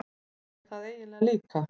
Ég er það eiginlega líka.